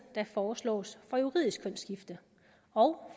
der foreslås for juridisk kønsskifte og